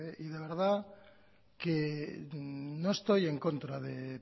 y de verdad que no estoy en contra de